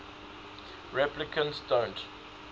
replicants don't